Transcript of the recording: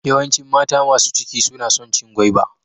Yawancin mata masu ciki suna son cin gwaiba.